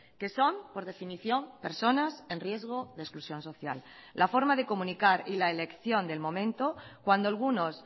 que son por definición personas en riesgo de exclusión social la forma de comunicar y la elección del momento cuando algunos